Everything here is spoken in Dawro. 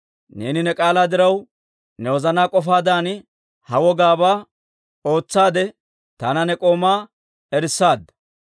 Neeni ne k'aalaa diraw, ne wozanaa k'ofaadan ha wogaabaa ootsaadde, taana ne k'oomaa erissaadda.